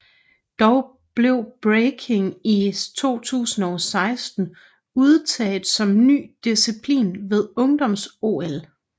Dog blev Breaking i 2016 udtaget som ny disciplin ved ungdoms OL